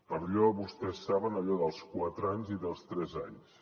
per allò vostès ho saben dels quatre anys i dels tres anys